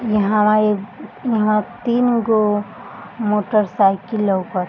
इहवां एक इहां तीनगो मोटरसाइकिल लउकत --